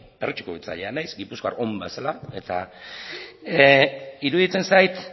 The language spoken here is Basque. perretxiko biltzailea naiz gipuzkoar on bezala eta iruditzen zait